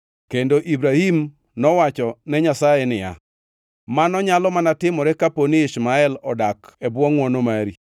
Kendo Ibrahim nowacho ne Nyasaye niya, “Mano nyalo mana timore kaponi Ishmael odak e bwo ngʼwono mari!”